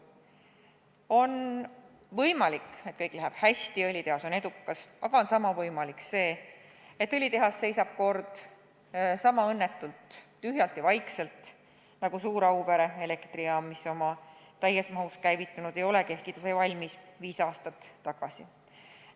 On võimalik, et kõik läheb hästi ja õlitehas osutub edukaks, aga sama võimalik on seegi, et õlitehas seisab kord sama õnnetult tühjana ja vaikselt nagu suur Auvere elektrijaam, mis täies mahus käivitunud ei olegi, ehkki sai valmis viis aastat tagasi.